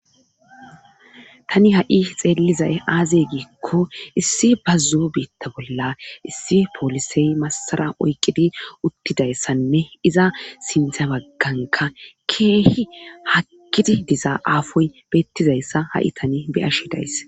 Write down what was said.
tani ha7i xeellizay aazey giikko issi bazzoo biitta bolla issi poolisey massara oyqqidi uttidayssanne iza sintha bagganka keehi hakkidi diza aafoy beettizayssa ha7i tani beyashshidays